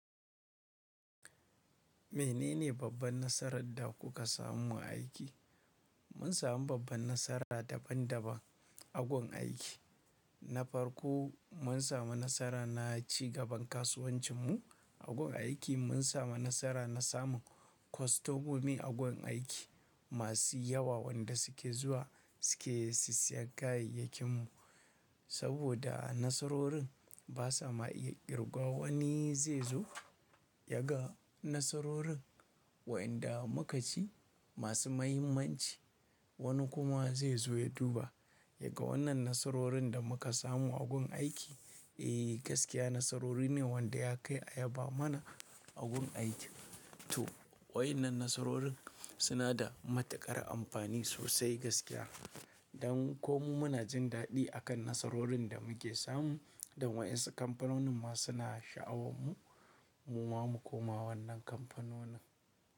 Menene babban nasarar da kuka samu aiki? Mun samu babban nasara daban daban agun aiki, na farko mun samu nasara na ci gaban kasuwancin mu agun aiki mun samu nasara na samun kwastomomi agun aiki masu yawa wanda suke zuwa suke sisiya kayayyakin mu. Saboda nasarorin basa ma iya kirguwa wani zai zo ya ga nasarorin waɗanda muka ci masu mahimmanci wani kuma zai zo ya duba yaga wannan nasarorin da muka samu agun aiki. Eh gaskiya nasarori ne wanda ya kai ayaba mana agun aiki. To waɗannan nasarorin suna da matuƙar amfani sosai gaskiya dan ko mu muna jin daɗi akan nasarorin da muke samu dan waɗansu kamfanonin ma suna sha'awar mu muma mu koma wannan kamfanonin.